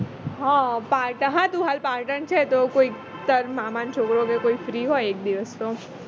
હ પાટણ હા તું હાલ પાટણ છે તો કોઈ તારા મામા નો છોકરો કે કોઈ free હોય એક દિવશ તો